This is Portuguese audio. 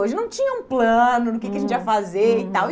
Hoje não tinha um plano do que que a gente ia fazer e tal.